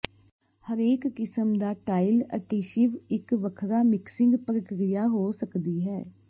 ਹਰੇਕ ਕਿਸਮ ਦਾ ਟਾਇਲ ਅਟੀਸ਼ਿਵ ਇੱਕ ਵੱਖਰਾ ਮਿਕਸਿੰਗ ਪ੍ਰਕਿਰਿਆ ਹੋ ਸਕਦੀ ਹੈ